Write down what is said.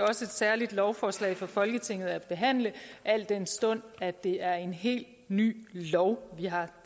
også et særligt lovforslag for folketinget at behandle al den stund at det er en helt ny lov vi har